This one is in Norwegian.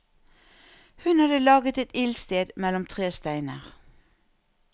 Hun hadde laget et ildsted mellom tre steiner.